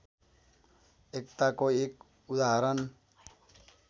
एकताको एक उदाहरण